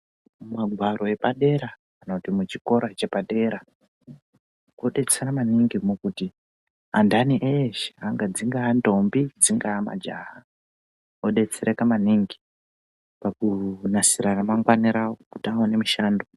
Mumagwaro epadera kana kuti kuchikora chepadera kudetsera maningi kuti andani eshe dzingava ndombi dzingava majaha odetsereka maningi pakunasira ramangwana awo kuti aone mushando.